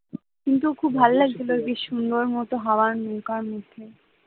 কিন্তু খুব ভাল্লাগছিল বেশ সুন্দর মতো হাওয়া নৌকার মধ্যে